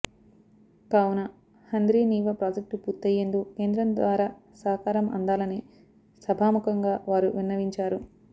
కావున హంద్రీనీవా ప్రాజెక్టు పూర్తయ్యేందుకు కేంద్రం ద్వారా సహకారం అందాలని సభాముఖంగా వారు విన్నవించారు